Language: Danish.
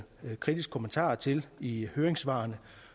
kritiske kommentarer til i høringssvarene